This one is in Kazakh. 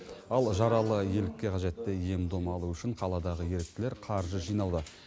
ал жаралы елікке қажетті ем дом алу үшін қаладағы еріктілер қаржы жинауда